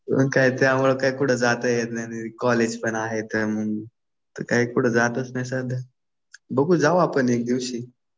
मग काय त्यामुळे काय कुठं जात येत नाही. कॉलेज पण आहे त्यामुळं . तर काही कुठं जातच नाही सध्या. बघू जाऊ आपण एक दिवशी.